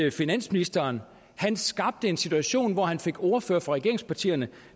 at finansministeren skabte en situation hvor han fik ordførere fra regeringspartierne